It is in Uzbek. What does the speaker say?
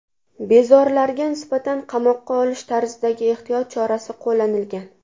Bezorilarga nisbatan qamoqqa olish tarzidagi ehtiyot chorasi qo‘llanilgan.